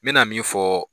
N mɛna min fɔ